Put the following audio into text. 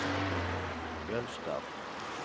Jølster